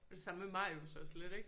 Og det samme med Marius også lidt ikke?